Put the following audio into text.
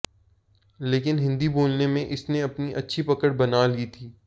लेकिन हिंदी बोलने में इसने अपनी अच्छी पकड़ बना ली थी